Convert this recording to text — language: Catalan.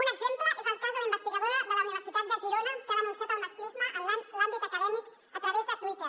un exemple és el cas de la investigadora de la universitat de girona que ha denunciat el masclisme en l’àmbit acadèmic a través de twitter